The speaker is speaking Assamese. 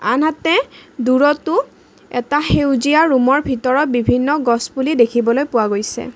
আনহাতে দূৰতো এটা সেউজীয়া ৰুম ৰ ভিতৰত বিভিন্ন গছ পুলি দেখিবলৈ পোৱা গৈছে।